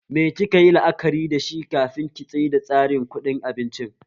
Me ki kayi la'akari dashi kafin ki tsaida tsarin kuɗin abincin?